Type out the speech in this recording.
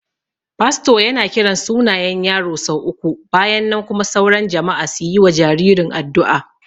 Fasto yana kiran sunayen yaro sau uku bayan nan kuma sauran jama'a su yi wa jaririn addu'a